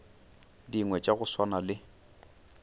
dingwe tša go swana le